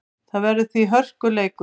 Það verður því hörkuleikur.